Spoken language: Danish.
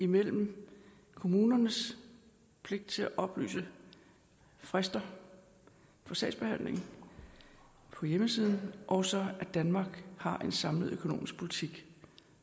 mellem kommunernes pligt til at oplyse frister for sagsbehandling på hjemmesiden og så at danmark har en samlet økonomisk politik